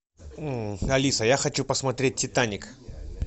алиса я хочу посмотреть титаник